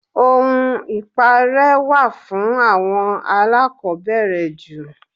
Ohun ipare wà fún àwọn alakobere jù.